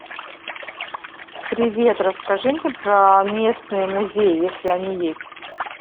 привет расскажи мне про местные музеи если они есть